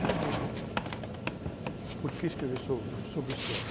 Veja bem, eh, por que escrever sô, sobre o samba?